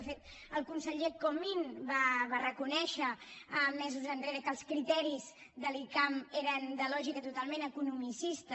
de fet el conseller comín va reconèixer mesos enrere que els criteris de l’icam eren de lògica totalment economicista